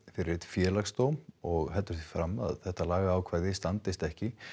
fyrir Félagsdóm og heldur því fram að lagaákvæðið standist ekki